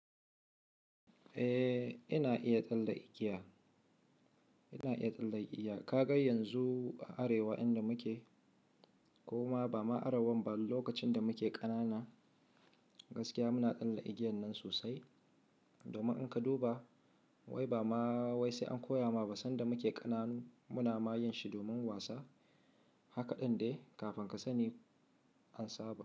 Eh, ina iya tsallekiya, ina iya tsallekiya. Ka ga yanzu a arewa inda muke ko ma ba ma arewa ba, lokacin da muke ƙanana gaskiya muna tsalle igiiyan nan sosai. Domin in ka duba wai ba ma wai sai an koya ma ba sanda muke ƙananu muna ma yin shi domin wasa. Haka ɗin dai kafin ka sani an saba.